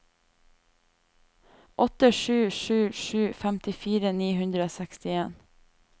åtte sju sju sju femtifire ni hundre og sekstien